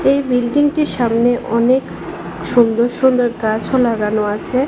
এই বিল্ডিং টির সামনে অনেক সুন্দর সুন্দর গাছও লাগানো আছে।